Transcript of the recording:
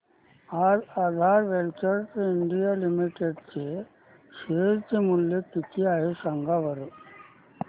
आज Aadhaar ventures India limited चे share चे मूल्य किती आहे सांगा बरं